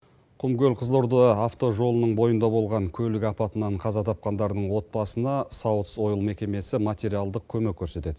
құмкөл қызылорда автожолының бойында болған көлік апатынан қаза тапқандардың отбасына саутс ойл мекемесі материалдық көмек көрсетеді